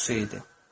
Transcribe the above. Qoxusu idi.